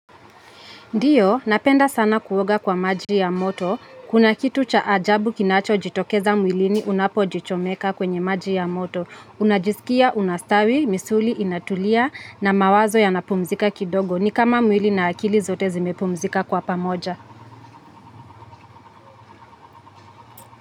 Ndiyo, napenda sana kuoga kwa maji ya moto, kuna kitu cha ajabu kinacho jitokeza mwilini unapo jichomeka kwenye maji ya moto, unajisikia, unastawi, misuli, inatulia, na mawazo yanapumzika kidogo, ni kama mwili na akili zote zimepumzika kwa pamoja.